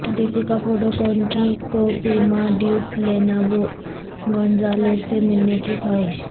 دیپیکا پڈوکون کی کوہ پیما ڈیوڈ لیانو گونزالیز سے ملنے کی خواہش